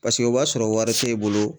Paseke o b'a sɔrɔ wari t'e bolo.